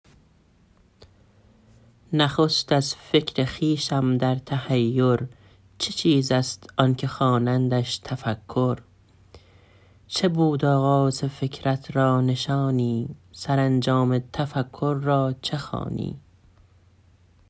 نخست از فکر خویشم در تحیر چه چیز است آن که خوانندش تفکر چه بود آغاز فکرت را نشانی سرانجام تفکر را چه خوانی